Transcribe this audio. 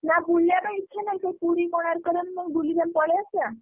ନା ବୁଲିଆ ପାଇଁ ଇଚ୍ଛା ନାହିଁ। ସେ ପୁରୀ କୋଣାର୍କ ବୁଲି ଆମେ ପଳେଇଆସିବା।